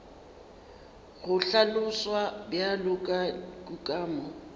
go hlaloswa bjalo ka kukamo